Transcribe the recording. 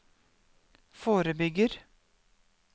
forebygger